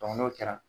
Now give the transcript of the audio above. n'o kɛra